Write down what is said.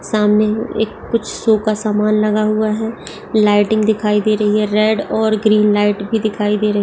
सामने एक कुछ सो का सामान लगा हुआ है। लाइटिंग दिखाई दे रही हे। रेड और ग्रीन लाईट भी दिखाई दे रही है।